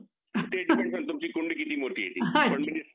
तेच depend करेल तुमची कुंडी किती मोठी आहे ते